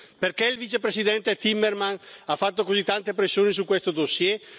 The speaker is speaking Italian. Perché il vicepresidente Timmermans ha fatto così tante pressioni su questo dossier?